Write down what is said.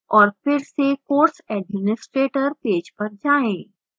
और फिर से course administrator पेज पर जाएं